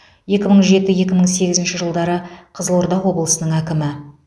екі мың жеті екі мың сегізінші жылдары қызылорда облысының әкімі